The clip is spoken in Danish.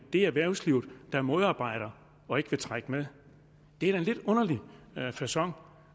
det er erhvervslivet der modarbejder og ikke vil trække med det er da en lidt underlig facon